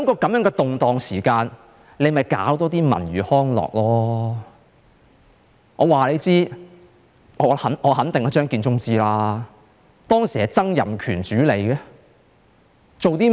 在這動盪的時候，便多辦一些文娛康樂設施吧，我肯定張建宗是知道的，當時是由曾蔭權主理的，他做了甚麼呢？